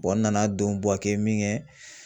n nana don Buwake min kɛ